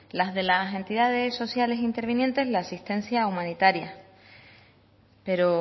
las de las entidades sociales intervinientes la asistencia humanitaria pero